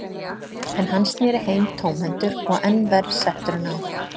En hann sneri heim tómhentur og enn verr settur en áður.